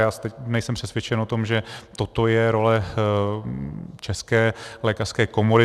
Já nejsem přesvědčen o tom, že toto je role České lékařské komory.